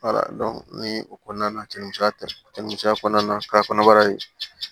o kɔnɔna na cɛmisɛnya tɛ misɛnya kɔnɔna na k'a kɔnɔbara in